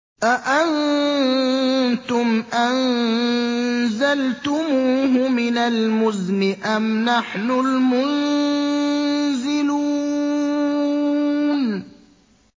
أَأَنتُمْ أَنزَلْتُمُوهُ مِنَ الْمُزْنِ أَمْ نَحْنُ الْمُنزِلُونَ